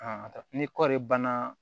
ni kɔɔri banna